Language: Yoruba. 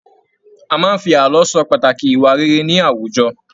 A máa n fí ààlọ́ sọ pàtàkì ìwà rere ní àwùjọ.